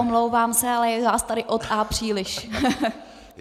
Omlouvám se, ale je vás tady od A příliš.